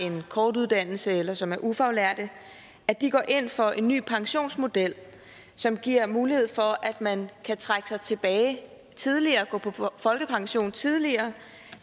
en kort uddannelse eller som er ufaglærte at de går ind for en ny pensionsmodel som giver mulighed for at man kan trække sig tilbage tidligere gå på folkepension tidligere